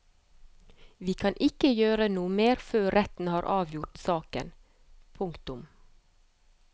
Vi kan ikke gjøre noe mer før retten har avgjort saken. punktum